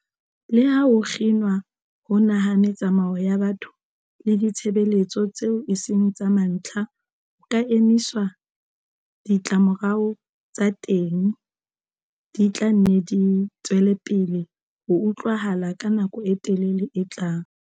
Leha ho kginwa hona ha metsamao ya batho le ditshebeletso tseo eseng tsa mantlha ho ka emiswa, ditlamorao tsa teng di tla nne di tswelepele ho utlwahala ka nako e telele e tlang.